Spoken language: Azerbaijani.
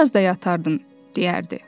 Bir az da yatardın, deyərdi.